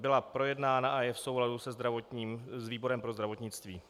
Byla projednána a je v souladu s výborem pro zdravotnictví.